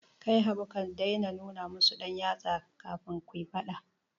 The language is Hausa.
Kai Habu ka dai na nuna musu ɗan yatsa, kafin kuyi faɗa